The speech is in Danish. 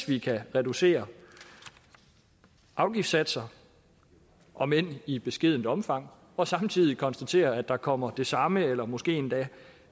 vi kan reducere afgiftssatser om end i beskedent omfang og samtidig konstatere at der kommer de samme eller måske endda